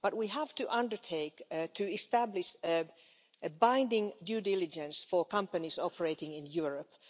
We have to undertake to establish binding due diligence for companies operating in Europe.